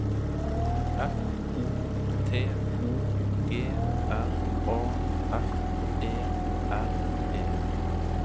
F O T O G R A F E R E